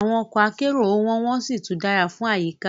Awon oko akero o won won si tun dara fun ayika